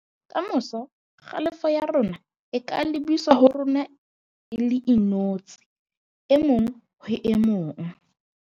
Ka moso, kgalefo ya rona e ka lebiswa ho rona re le inotshi e mong ho e mong